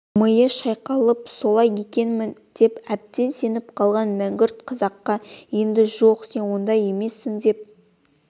миы шайқалып солай екенмін деп әбден сеніп қалған мәңгүрт қазаққа енді жоқ сен ондай емессің деп